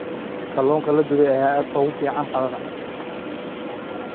Kalluunka la dubay ayaa aad ugu fiican qadada.